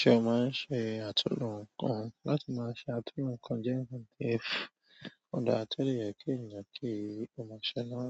Ṣé o máa ń ṣe àtúnlo nǹkan? Láti máa ṣe àtúnlo nǹkan jẹ́ nǹkan tí ó dáa tó dẹ̀ yẹ kí ènìyàn kí ó máa ṣe náà,